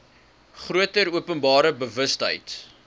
groter openbare bewustheid